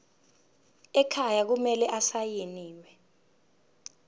ekhaya kumele asayiniwe